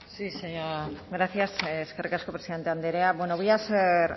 gracias eskerrik asko presidente andrea voy a ser